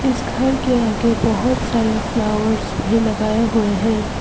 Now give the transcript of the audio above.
इस घर के आगे बहुत सारे फ्लावर भी लगाए गए हैं।